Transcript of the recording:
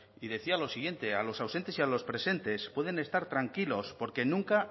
y decía lo siguiente a los ausentes y a los presentes pueden estar tranquilos porque nunca